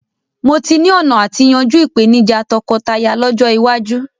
Mó tí ni ọ̀nà àti yanjú ìpèníjà tọkọtaya lọ́jọ́ iwájú